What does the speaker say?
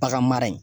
Bagan mara ye